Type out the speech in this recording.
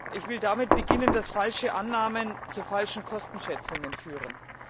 Ich will damit beginnen, dass falsche Annahmen zu falschen Kostenschätzungen führen.